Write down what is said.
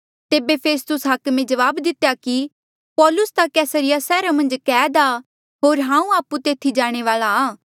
तेबे फेस्तुस हाकमे जवाब दितेया कि पौलुस ता कैसरिया सैहरा मन्झ कैद आ होर हांऊँ आपु तेथी जाणे वाल्आ आ